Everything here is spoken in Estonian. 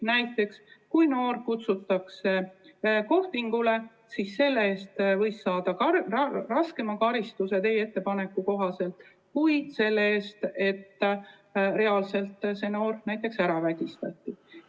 Näiteks kui noor kutsutakse kohtingule, siis selle eest võib teie eelnõu kohaselt saada raskema karistuse kui selle eest, et see noor reaalselt näiteks ära vägistatakse.